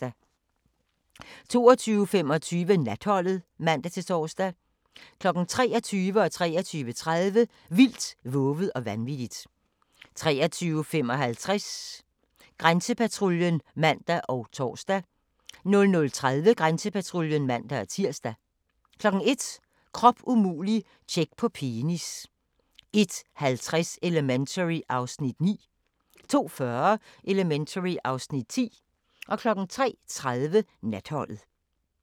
22:25: Natholdet (man-tor) 23:00: Vildt, vovet og vanvittigt 23:30: Vildt, vovet og vanvittigt 23:55: Grænsepatruljen (man og tor) 00:30: Grænsepatruljen (man-tir) 01:00: Krop umulig - tjek på penis 01:50: Elementary (Afs. 9) 02:40: Elementary (Afs. 10) 03:30: Natholdet